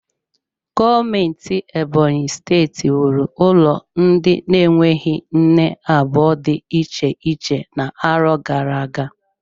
Gọọmenti Ebonyi steeti wuru ụlọ ndị na-enweghị nne abụọ dị iche iche n'arọ gara aga.